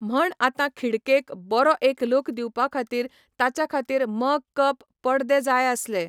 म्हण आतां खिडकेक बरो एक लूक दिवपा खातीर ताच्या खातीर मग कप, पडदे जाय आसले.